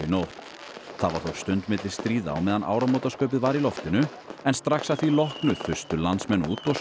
nótt það var þó stund milli stríða á meðan áramótaskaupið var í loftinu en strax að því loknu þustu landsmenn út og